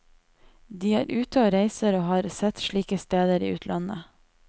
De er ute og reiser og har sett slike steder i utlandet.